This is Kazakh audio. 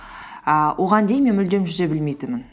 ііі оған дейін мен мүлдем жүзе білмейтінмін